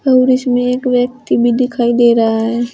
और इसमें एक व्यक्ति भी दिखाई दे रहा है।